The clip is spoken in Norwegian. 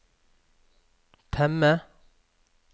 temme